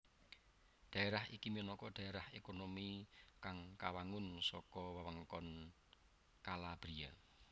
Dhaerah iki minangka dhaerah otonomi kang kawangun saka wewengkon Calabria